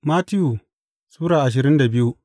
Mattiyu Sura ashirin da biyu